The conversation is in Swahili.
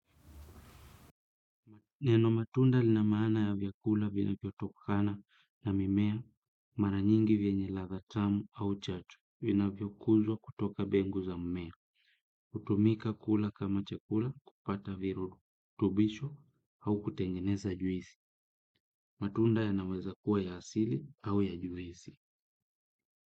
Neno matunda lina maana ya vyakula vilivyotokana na mimea mara nyingi vyenye ladha tamu au chachu vinavyo kuzwa kutoka mbegu za mimea hutumika kula kama chakula kupata virutubisho au kutengeneza juice. Matunda yanaweza kuwa ya asili au ya juisi.